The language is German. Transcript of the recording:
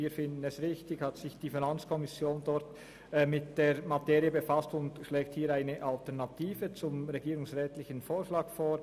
Wir finden es richtig, dass sich die FiKo mit der Materie befasst hat und eine Alternative zum regierungsrätlichen Antrag vorschlägt.